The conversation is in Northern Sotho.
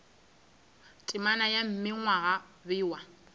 temana ya mme gwa bewa